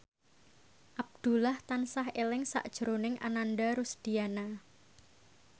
Abdullah tansah eling sakjroning Ananda Rusdiana